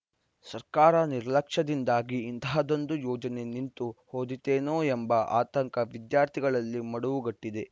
ಸರ್ಕಾರ ನಿರ್ಲಕ್ಷ್ಯದಿಂದಾಗಿ ಇಂತಹದ್ದೊಂದು ಯೋಜನೆ ನಿಂತು ಹೋದೀತೇನೋ ಎಂಬ ಆತಂಕ ವಿದ್ಯಾರ್ಥಿಗಳಲ್ಲಿ ಮಡುವು ಗಟ್ಟಿದೆ